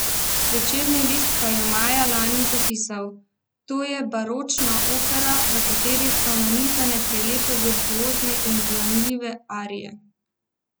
Večerni list pa je maja lani zapisal: "To je baročna opera, v kateri so nanizane prelepe virtuozne in ganljive arije.